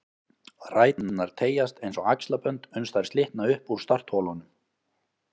Ræturnar teygjast eins og axlabönd uns þær slitna upp úr startholunum